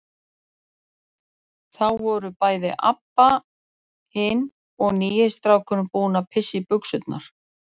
Þá voru bæði Abba hin og nýi strákurinn búin að pissa í buxurnar.